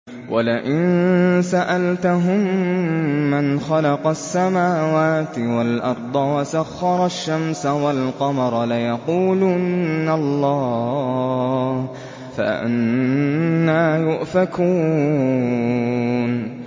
وَلَئِن سَأَلْتَهُم مَّنْ خَلَقَ السَّمَاوَاتِ وَالْأَرْضَ وَسَخَّرَ الشَّمْسَ وَالْقَمَرَ لَيَقُولُنَّ اللَّهُ ۖ فَأَنَّىٰ يُؤْفَكُونَ